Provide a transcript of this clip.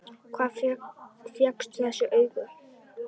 Hvar fékkstu þessi augu?